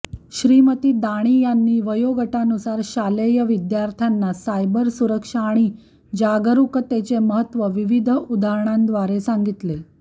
श्रीमती दाणी यांनी वयोगटानुसार शालेय विद्यार्थ्यांना सायबर सुरक्षा आणि जागरूकतेचे महत्त्व विविध उदाहरणांद्वारे सांगितले